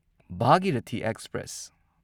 Bhagirathi express